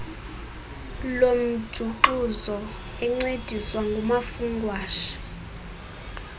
lomjuxuzo encediswa ngumafungwashe